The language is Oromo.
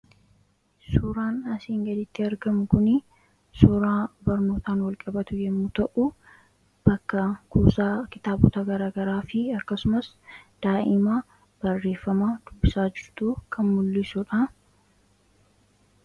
Suuraan asiin gaditti argamu kunii suuraa barnootaan wal qabatu yommuu ta'uu ; bakka kuusaa kitaabota garagaraa fi akkasumas daa'ima barreeffama dubbisaa jirtuu kan mul'isuudha.